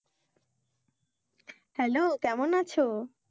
Hello কেমন আছো?